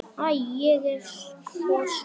Æ, ég er svo svöng.